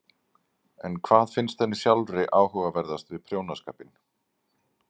En hvað finnst henni sjálfri áhugaverðast við prjónaskapinn?